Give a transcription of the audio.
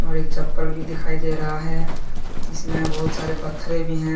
और एक चप्पल भी दिखाई दे रहा है इसमें बहोत सारे पत्थरे भी हैं।